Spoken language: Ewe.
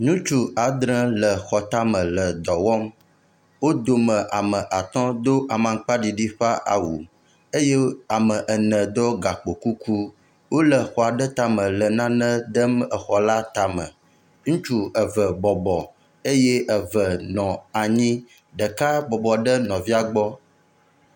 Ŋutsu adre le xɔ tame le dɔwɔm, wodome ame atɔ̃ do aŋkpa ɖiɖi ƒe awu eye ame ene ɖo gakpo kuku, wole xɔ aɖe tame le nane dem xɔa tame, ŋutsu eve bɔbɔ eye eve nɔ anyi ɖeka bɔbɔ ɖe nɔvia gbɔ.